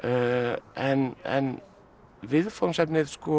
en en viðfangsefnið